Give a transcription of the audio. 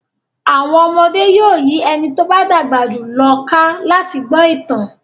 Àwọn ọmọdé yóò yí ẹni tó bá dàgbà jù lọ ká láti gbọ́ ìtàn.